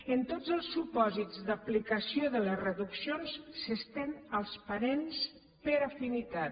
en tots els supòsits d’aplicació de les reduccions s’estén als parents per afinitat